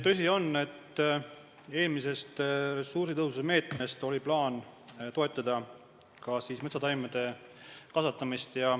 Tõsi on, et eelmise ressursitõhususe meetme kaudu oli plaan toetada ka metsataimede kasvatamist.